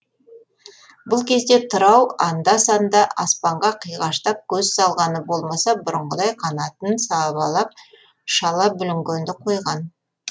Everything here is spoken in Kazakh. бұл кезде тырау анда санда аспанға қиғаштап көз салғаны болмаса бұрынғыдай қанатын сабалап шала бүлінгенді қойған